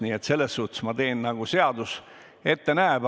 Nii et selles mõttes ma teen, nagu seadus ette näeb.